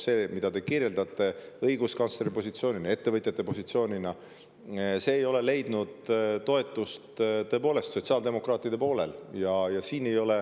See, mida te kirjeldate õiguskantsleri positsioonina, ettevõtjate positsioonina, ei ole leidnud tõepoolest toetust sotsiaaldemokraatide seas.